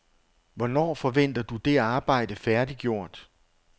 Hvornår forventer du det arbejde færdiggjort?